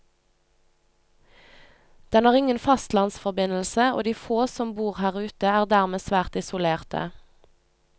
Den har ingen fastlandsforbindelse, og de få som bor her ute er dermed svært isolerte.